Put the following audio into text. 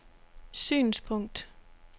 synspunkt